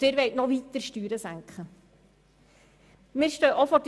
Und Sie wollen die Steuern noch weiter senken!